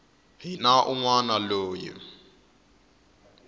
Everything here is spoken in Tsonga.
ri na un wana loyi